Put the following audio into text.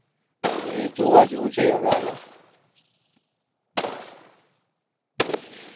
હવે જોવા જેવું છે આગળ